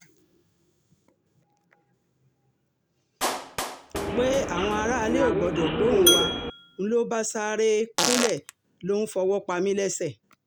pé um àwọn aráalé ò gbọ́dọ̀ gbóhùn wa ń lọ bá sáré um kúnlẹ̀ ló ń fọwọ́ pa mí lẹ́sẹ̀